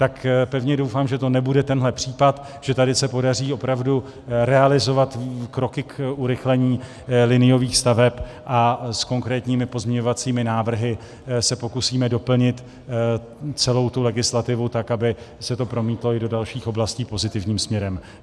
Tak pevně doufám, že to nebude tenhle případ, že tady se podaří opravdu realizovat kroky k urychlení liniových staveb, a s konkrétními pozměňovacími návrhy se pokusíme doplnit celou tu legislativu tak, aby se to promítlo i do dalších oblastí pozitivním směrem.